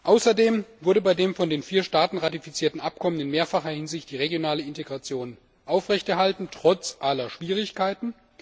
Außerdem wurde bei dem von den vier Staaten ratifizierten Abkommen in mehrfacher Hinsicht die regionale Integration aufrechterhalten trotz aller Schwierigkeiten.